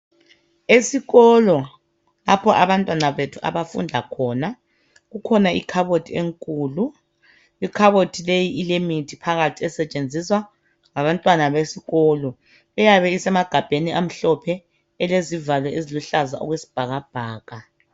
Esikolo lapho abantwana bethu abafunda khona kukhona ikhabothi enkulu, ikhabothi leyi ilemithi phakathi esetshenziswa ngabantwana besikolo. Iyabe isemagabheni amhlophe rlezivalo eziluhlaza okwesibhakabhaka.